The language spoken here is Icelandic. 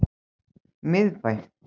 Miðbæ